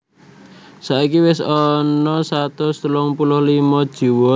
Saiki wis ana satus telung puluh limo jiwa sing tiwas